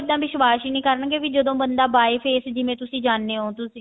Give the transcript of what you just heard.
ਵਿਸ਼ਵਾਸ ਹੀ ਨੀ ਕਰਨਗੇ ਵੀ ਜਦੋਂ ਬੰਦਾ by face ਜਿਵੇਂ ਤੁਸੀਂ ਜਾਣੇ ਜਾਂਦੇ ਹੋ